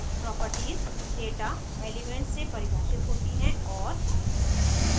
properties data elements से परिभाषित होती हैं और